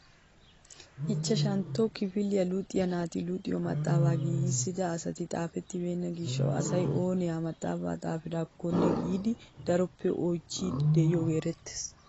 Ichchashshantto kifiliyaa luxiyaa naati luxiyoo maxaafaa giigissida asati xaafettibenna gishshawu asay ooni ha maxafaa xafidakkone giidi daroppe oychchiidi de'iyoogee erettees!